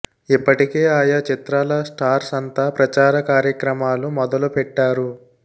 ఇప్పటికే ఆయా చిత్రాల స్టార్స్ అంతా ప్రచార కార్యక్రమాలు మొదలు పెట్టారు